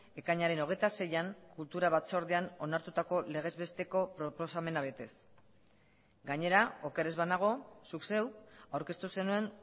ekainaren hogeita seian kultura batzordean onartutako legez besteko proposamena betez gainera oker ez banago zuk zeuk aurkeztu zenuen